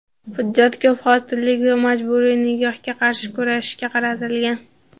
hujjat ko‘pxotinlilik va majburiy nikohga qarshi kurashishga qaratilgan.